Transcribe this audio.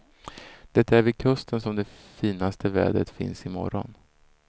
Det är vid kusten som det finaste vädret finns i morgon.